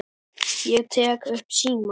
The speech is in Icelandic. Ég tek upp símann.